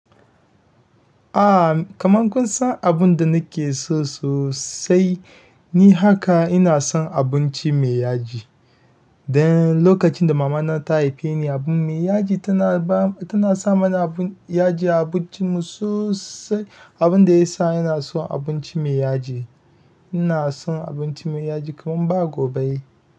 Aa kaman kun san abun da nake so sosai ni haka ina son abinci mai yaji. Dan lokacin da mama na ta haife ni abin mai yaji tana ba tana sa mana abun yaji a abincin mu sosai. Abun da ya sa ina son abinci mai yaji. Ina son abinci mai yaji kaman ba gobe.